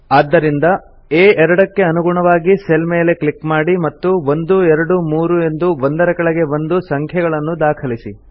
ಆದ್ದರಿಂದ A 2 ಕ್ಕೆ ಅನುಗುಣವಾಗಿ ಸೆಲ್ ಮೇಲೆ ಕ್ಲಿಕ್ ಮಾಡಿ ಮತ್ತು 123 ಎಂದು ಒಂದರ ಕೆಳಗೆ ಒಂದು ಸಂಖ್ಯೆಗಳನ್ನು ದಾಖಲಿಸಿ